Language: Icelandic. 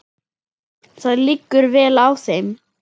Það liggur vel á þeim.